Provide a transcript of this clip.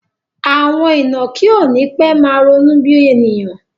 Àwọn ìnàkí ó nipe máa ronú bí ènìyàn